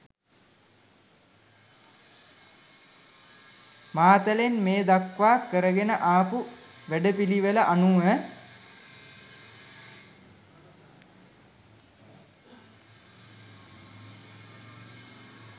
මාතලන් මේ දක්වා කරගෙන ආපු වැඩපිළිවෙල අනුව